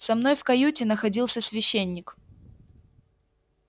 со мной в каюте находился священник